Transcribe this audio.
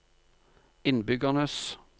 innbyggernes